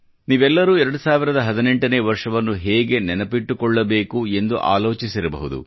ನೀವೆಲ್ಲರೂ 2018 ನೇ ವರ್ಷವನ್ನು ಹೇಗೆ ನೆನಪಿಟ್ಟುಕೊಳ್ಳಬೇಕು ಎಂದು ಆಲೋಚಿಸಿರಬಹುದು